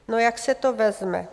No, jak se to vezme.